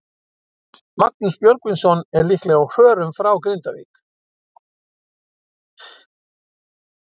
Magnús Björgvinsson er líklega á förum frá Grindavík.